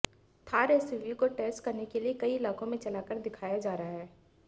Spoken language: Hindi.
थार एसयूवी को टेस्ट करने के लिए कई इलाकों में चलाकर दिखाया जा रहा है